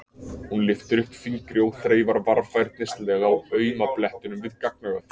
Hún lyftir upp fingri og þreifar varfærnislega á auma blettinum við gagnaugað.